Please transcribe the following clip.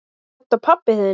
Er þetta pabbi þinn?